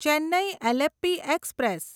Chennai Alleppey express